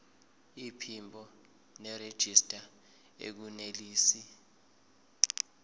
iphimbo nerejista akunelisi